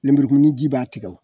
Lenburukumuni ji b'a tigɛ o